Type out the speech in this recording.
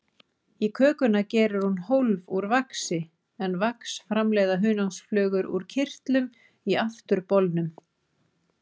Í kökuna gerir hún hólf úr vaxi, en vax framleiða hunangsflugur úr kirtlum í afturbolnum.